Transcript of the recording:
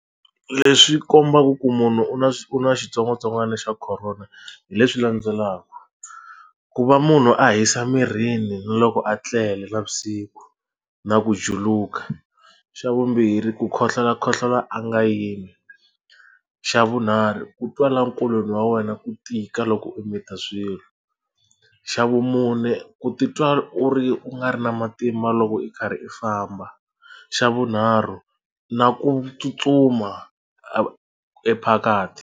Leswi kombaka ku munhu u na u na xitsongwatsongwana xa khorona hi leswi landzelaka, ku va munhu a hisa mirini ni loko a tlele navusiku na ku juluka xa vumbirhi ku khohlola khohlola a nga yimi xa vunharhu ku twa la enkolweni wa wena ku tika loko u mita swilo xa vumune ku titwa u ri u nga ri na matimba loko i karhi i famba xa vunharhu na ku tsutsuma e ephakathi.